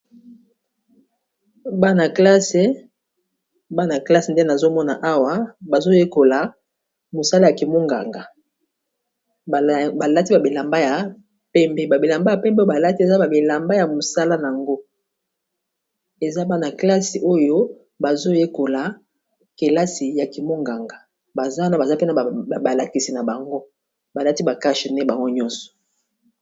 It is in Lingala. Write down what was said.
Bana klasse nde nazomona awa bazoyekola mosala ya kimonganga. Balati babilamba ya pembe, babilamba ya pembe, balati eza bamilamba ya mosaka yango eza bana kelasi oyo bazoyekola kelasi ya kimonganga. Baza wana baza pene ya balakisi na bango balati ba cashe nez bango nyonso.